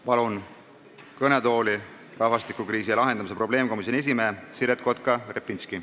Palun kõnetooli rahvastikukriisi lahendamise probleemkomisjoni esimehe Siret Kotka-Repinski.